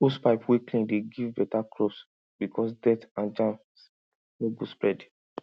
hosepipe wey clean dey give better crops because dirty and germs no go spread